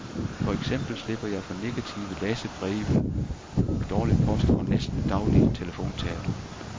For eksempel slipper jeg for negative læserbreve, dårlig post og næsten daglig telefonterror.